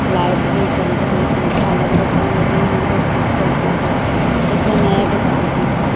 Light भी जल रही है झालर बत्ती लगी हुई है खूब सजी है जैसे नया दुकान हो.